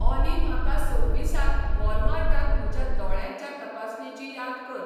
ऑाली म्हाका सव्वीसाक वॉलमार्टांत म्हज्या दोळ्यांच्या तपासणेची याद कर